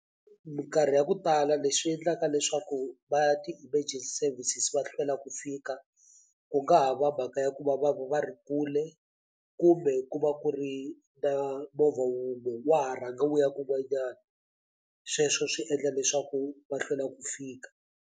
Mikarhi ya ku tala leswi endlaka leswaku va ya ti-emergency services va hlwela ku fika ku nga ha va mhaka ya ku va va ku va ri kule kumbe ku va ku ri na movha wun'we wa ha rhanga wu ya kun'wanyana sweswo swi endla leswaku va hlwela ku fika.